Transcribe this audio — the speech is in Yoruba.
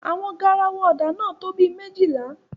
Awọn garawa ọ́dạ náa to bi mejila